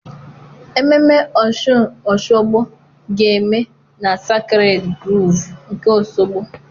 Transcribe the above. Ememme Ọshụn Oshogbo ga-eme na Asakred Grovu nke Osogbo